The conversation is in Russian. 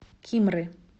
кимры